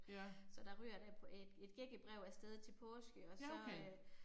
Ja. Ja okay